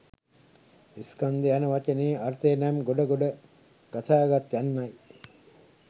ස්කන්ධ යන වචනයේ අර්ථය නම් ගොඩ ගොඩ ගසාගත් යන්නයි.